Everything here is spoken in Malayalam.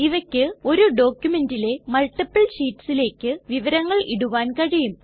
ഇവക്ക് ഒരു ഡോക്കുമെൻറിലെ മൾട്ടിപ്പിൾ ഷീറ്റ്സിലേക്ക് വിവരങ്ങൾ ഇടുവാൻ കഴിയും